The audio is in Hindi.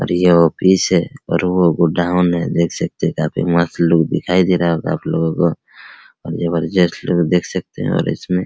और ये ऑफिस है और वो गोडाउन है | देख सकते हैं काफी मस्त लुक दिखाई दे रहा होगा आप लोगो को और जबरदस्त लोग देख सकते है और इसमें --